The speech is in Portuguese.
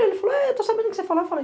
Ele falou, estou sabendo do que você falou.